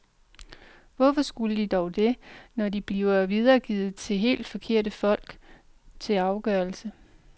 Hvorfor skulle de dog det, når de bliver videregivet til helt forkerte folk til afgørelse.